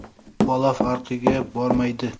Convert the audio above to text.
Bola farqiga bormaydi.